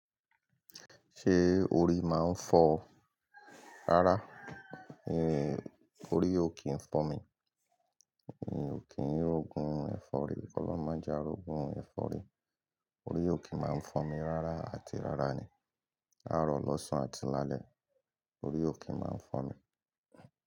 Ṣé orí máa ń fọ́ ọ rárá? Orí ò kí ń fọ́n mi. Mi ò kí ń rogun ẹ̀fọ́rí. Ọlọ́run máa jẹ àrogun ẹ̀fọ́rí. Orí ò kí máa ń fọ́n mi rárá, àti rárá ni. Áàrọ̀, lọ́sàn, àti lálẹ́, orí ò kí máa ń fọ́n mi.